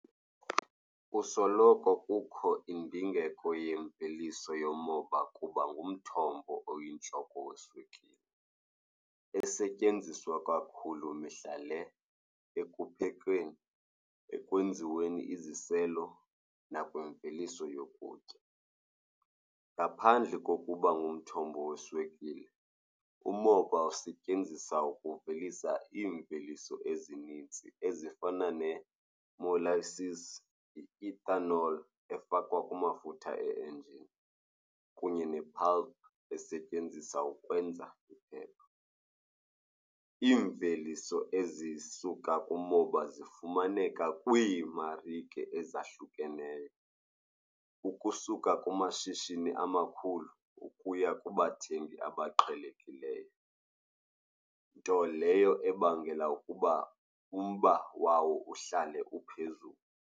Kusoloko kukho indingeko yemveliso yomoba kuba ngumthombo oyintloko weswekile, esetyenziswa kakhulu mihla le, ekuphekeni ekwenziweni iziselo nakwimveliso yokutya. Ngaphandle kokuba ngumthombo weswekile, umoba usetyenziswa ukuvelisa iimveliso ezinintsi ezifana nee-molasses, i-ethanol efakwa kwamafutha e-enjini kunye ne-pulp esetyenziswa ukwenza iphepha. Iimveliso ezisuka kumoba zifumaneka kwiimarike ezahlukeneyo, ukusuka kumashishini amakhulu ukuya kubathengi abaqhelekileyo. Nto leyo ebangela ukuba umba wawo uhlale uphezulu.